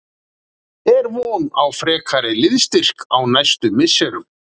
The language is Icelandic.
Er von á frekari liðsstyrk á næstu misserum?